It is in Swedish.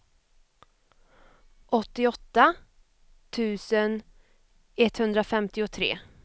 åttioåtta tusen etthundrafemtiotre